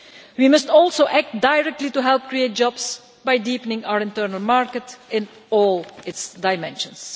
We must also act directly to help create jobs by deepening our internal market in all its dimensions.